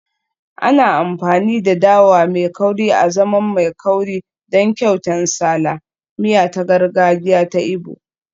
Ana amfani da dawa mai kauri azaman mai kauri don kyauta nsala, miya ta gargajiya ta Igbo